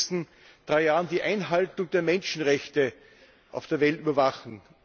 Sie sollen in den nächsten drei Jahren die Einhaltung der Menschenrechte auf der Welt überwachen!